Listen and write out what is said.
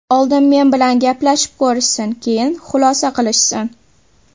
Oldin men bilan gaplashib ko‘rishsin, keyin xulosa qilishsin.